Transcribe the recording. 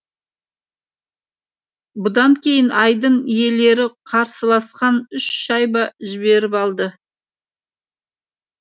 бұдан кейін айдын иелері қарсыластан үш шайба жіберіп алды